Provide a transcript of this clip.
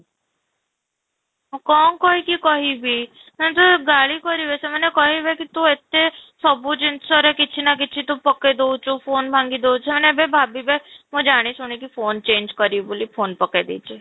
କ'ଣ କହି କି କହିବି ସେ ତ ଗାଳି କରିବେ ସେମାନେ କହିବେ କି ତୁ ଏତେ ସବୁ ଜିନିଷରେ କିଛି ନା କିଛି ତୁ ପକେଇ ଦଉଛୁ, phone ଭାଙ୍ଗି ଦେଉଛୁ ସେମାନେ ଏବେ ଭାବିବେ ମୁଁ ଜାଣି ଶୁଣି ଏବେ phone change କରିବି ବୋଲି phone ପକେଇ ଦେଇଛି